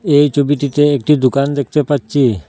এই ছবিটিতে একটি দোকান দেখতে পাচ্ছি।